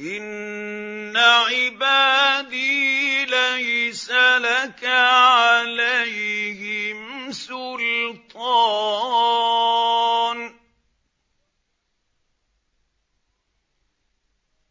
إِنَّ عِبَادِي لَيْسَ لَكَ عَلَيْهِمْ سُلْطَانٌ ۚ